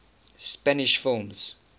spanish films